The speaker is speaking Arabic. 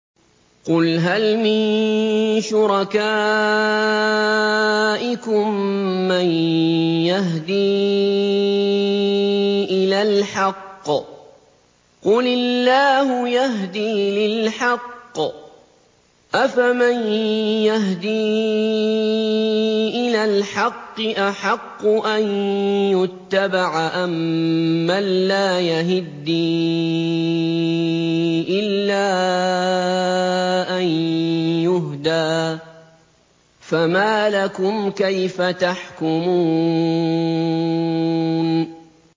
قُلْ هَلْ مِن شُرَكَائِكُم مَّن يَهْدِي إِلَى الْحَقِّ ۚ قُلِ اللَّهُ يَهْدِي لِلْحَقِّ ۗ أَفَمَن يَهْدِي إِلَى الْحَقِّ أَحَقُّ أَن يُتَّبَعَ أَمَّن لَّا يَهِدِّي إِلَّا أَن يُهْدَىٰ ۖ فَمَا لَكُمْ كَيْفَ تَحْكُمُونَ